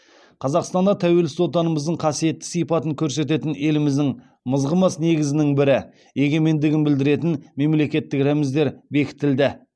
қазақстанда тәуелсіз отанымыздың қасиетті сипатын көрсететін еліміздің мызғымас негізінің бірі егемендігін білдіретін мемлекеттік рәміздер бекітілді